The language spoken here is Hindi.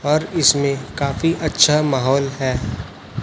और इसमें काफी अच्छा महौल है।